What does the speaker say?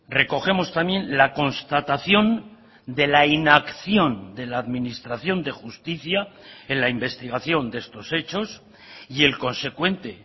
recogemos también la constatación de la inacción de la administración de justicia en la investigación de estos hechos y el consecuente